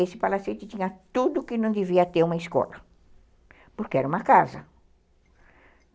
Esse palacete tinha tudo que não devia ter uma escola, porque era uma casa.